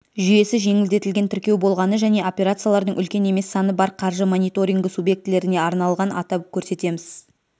жүйесі жеңілдетілген тіркеу болғаны және операциялардың үлкен емес саны бар қаржы мониторингі субъектілеріне арналған атап көрсетеміз